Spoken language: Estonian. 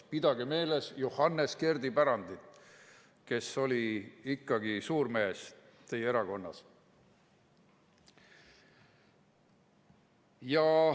Pidage meeles Johannes Kerdi pärandit, kes oli ikkagi suurmees teie erakonnas.